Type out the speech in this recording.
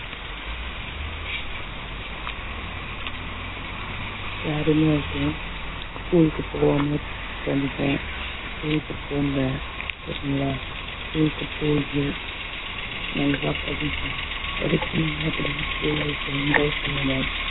யாருமே இருக்கேன் school க்கு வந்துட்டேன் school க்கு போங்க okay ங்களா school க்கு போங்க நல்லா படிங்க படிச்சீங்கன்னா படிங்க school life ல enjoy பண்ணுங்க